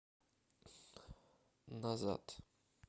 назад